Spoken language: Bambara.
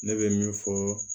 Ne bɛ min fɔ